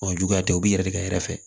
Ɔ juguya tɛ u bɛ yɛlɛ fɛ